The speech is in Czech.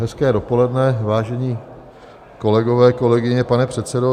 Hezké dopoledne, vážení kolegové, kolegyně, pane předsedo.